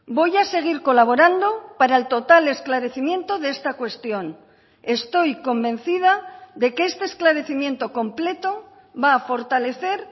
voy a seguir colaborando para el total esclarecimiento de esta cuestión estoy convencida de que este esclarecimiento completo va a fortalecer